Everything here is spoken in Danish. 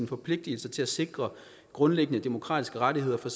forpligtelser til at sikre grundlæggende demokratiske rettigheder for